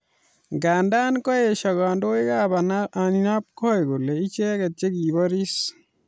Nganda kaesho kandoikab ainabkoi kole icheket che kiboris